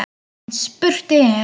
En spurt er: